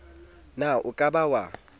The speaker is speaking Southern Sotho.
na o ka ba wa